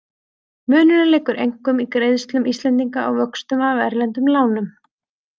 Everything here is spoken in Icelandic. Munurinn liggur einkum í greiðslum Íslendinga á vöxtum af erlendum lánum.